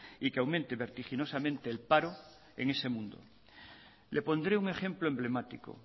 y que aumente vertiginosamente el paro en ese mundo le pondré un ejemplo emblemático